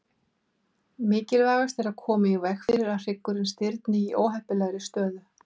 Mikilvægast er að koma í veg fyrir að hryggurinn stirðni í óheppilegri stöðu.